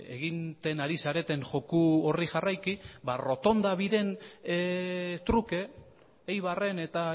egiten ari zareten joko horri jarraiki ba errotonda biren truke eibarren eta